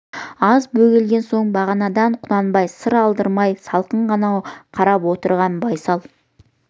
аз бөгелген соң бағанадан құнанбайға сыр алдырмай салқын ғана қарап отырған байсал